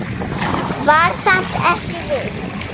Var samt ekki viss.